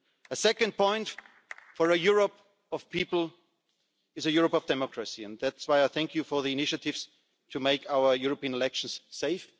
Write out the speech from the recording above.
again. A second point for a people's Europe is a Europe of democracy. That's why I thank you for the initiatives to make our European elections